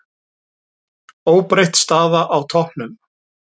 Óbreytt staða á toppnum